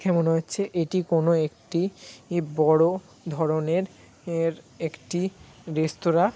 দেখে মনে হচ্ছে এটি কোনো একটি বড়ো ধরনের এর একটি রেস্তোরাঁ।